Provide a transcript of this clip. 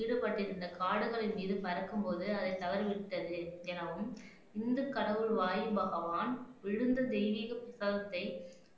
ஈடுபட்டிருந்த காடுகளின் மீது பறக்கும் போது அதை தவறிவிட்டது எனவும் இந்து கடவுள் வாயு பகவான் விழுந்த தெய்வீக புஸ்தகத்தை